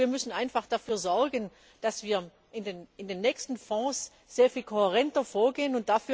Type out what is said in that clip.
Aber wir müssen einfach dafür sorgen, dass wir bei den nächsten Fonds sehr viel kohärenter vorgehen.